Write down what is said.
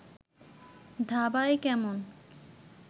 ধাবায় কেমন